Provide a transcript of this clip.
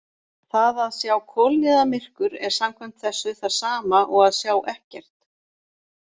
Það að sjá kolniðamyrkur er samkvæmt þessu það sama og að sjá ekkert.